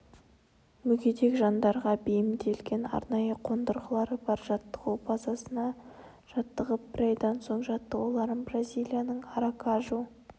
мүгедек жандарға бейімделген арнайы қондырғылары бар жаттығу базасында жаттығып бір айдан соң жаттығуларын бразилияның аракажу